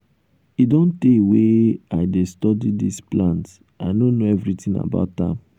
e don tey wey um i dey study dis plant. i know everything about am. um